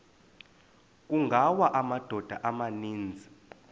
kungawa amadoda amaninzi